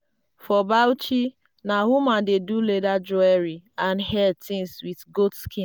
for bauchi na women dey do leather jewellery and hair things with goat skin.